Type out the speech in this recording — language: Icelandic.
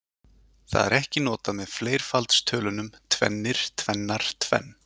Það er ekki notað með fleirfaldstölunum tvennir, tvennar, tvenn.